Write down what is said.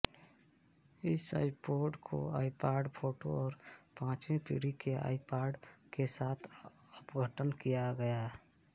इस आईपोड को iPod photo और पांचवीं पीढ़ी के आइपॉड के साथ अद्यतन किया गया